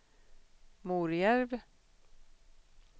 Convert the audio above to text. Morjärv